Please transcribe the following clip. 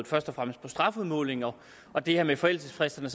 først og fremmest på strafudmålingen og det her med forældelsesfristerne